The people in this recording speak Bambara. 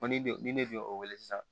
ne ni ne tun y'o wele sisan